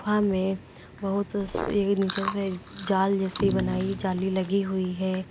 गुफा में बहुत एक नीचे से जाल जैसी बनाई जाली लगी हुई है।